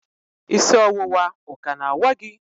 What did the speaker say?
isi ọwụwa o ka na-awa gị?